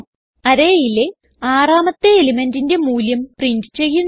Arrayയിലെ ആറാമത്തെ elementന്റിന്റെ മൂല്യം പ്രിന്റ് ചെയ്യുന്നു